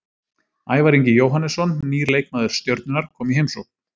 Ævar Ingi Jóhannesson, nýr leikmaður Stjörnunnar, kom í heimsókn.